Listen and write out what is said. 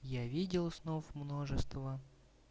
я видел снов множество